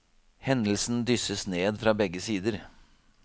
Hendelsen dysses ned fra begge sider.